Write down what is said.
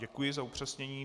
Děkuji za upřesnění.